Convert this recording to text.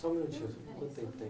Só um minutinho.